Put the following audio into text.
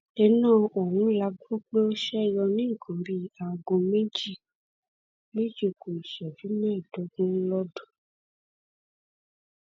iná ọ̀hún la gbọ pé ó ṣe yọ ní nǹkan bíi aago méjì méjì ku ìṣẹjú mẹẹẹdógún lord